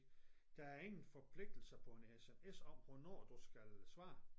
Der er ingen forpligtelser på en SMS om hvornår du skal svare